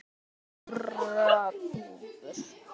Blíðar kurra dúfur.